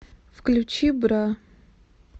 включи бра